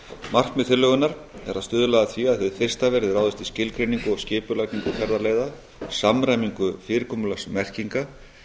markmið tillögunnar er að stuðla að því að hið fyrsta verði ráðist í skilgreiningu og skipulagningu ferðaleiða samræmingu fyrirkomulags merkinga